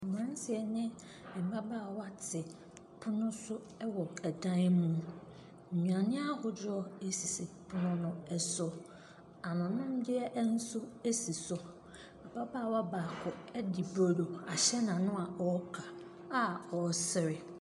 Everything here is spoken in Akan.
Mmranteɛ ne mmabaawa te pono so ɛwɔ ɛdan mu. Nnuane ahodoɔ asisi pono no so. Ano nom deɛ nso asi so. Ababaawa baako edi brodo ahyɛ n'ano a ɔka a ɔsere.